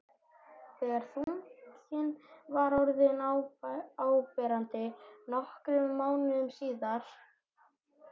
þegar þunginn var orðinn áberandi, nokkrum mánuðum síðar.